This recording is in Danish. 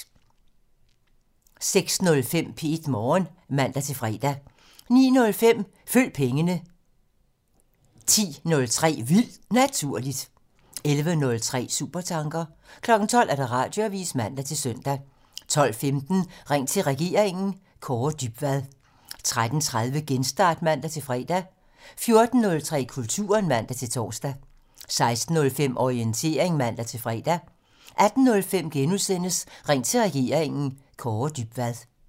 06:05: P1 Morgen (man-fre) 09:05: Følg pengene (man) 10:03: Vildt Naturligt (man) 11:03: Supertanker (man) 12:00: Radioavisen (man-søn) 12:15: Ring til regeringen: Kaare Dybvad 13:30: Genstart (man-fre) 14:03: Kulturen (man-tor) 16:05: Orientering (man-fre) 18:05: Ring til regeringen: Kaare Dybvad *